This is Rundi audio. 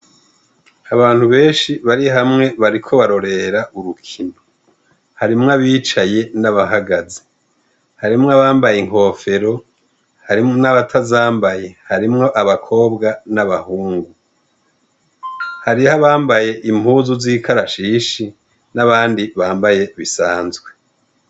Abantu benshi bari hamwe bariko barorera urukino harimwo abicaye n'abahagaze harimwo abambaye inkofero hariho n'abatazambaye harimwo abakobwa n'abahungu hariho abambaye impuzu z'ikarashishi n'abandi bambaye ibisanzwe.